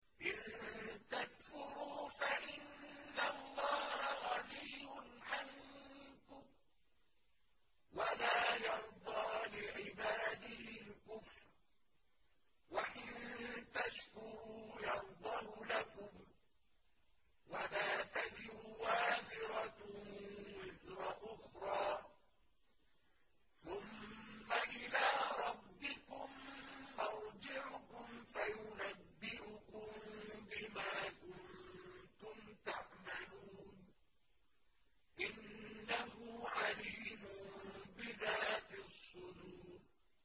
إِن تَكْفُرُوا فَإِنَّ اللَّهَ غَنِيٌّ عَنكُمْ ۖ وَلَا يَرْضَىٰ لِعِبَادِهِ الْكُفْرَ ۖ وَإِن تَشْكُرُوا يَرْضَهُ لَكُمْ ۗ وَلَا تَزِرُ وَازِرَةٌ وِزْرَ أُخْرَىٰ ۗ ثُمَّ إِلَىٰ رَبِّكُم مَّرْجِعُكُمْ فَيُنَبِّئُكُم بِمَا كُنتُمْ تَعْمَلُونَ ۚ إِنَّهُ عَلِيمٌ بِذَاتِ الصُّدُورِ